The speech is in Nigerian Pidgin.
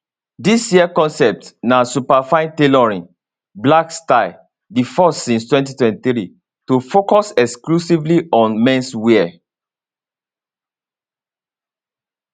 dis year concept na superfine tailoring black style di first since 2003 to focus exclusively on menswear